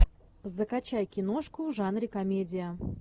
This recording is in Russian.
закачай киношку в жанре комедия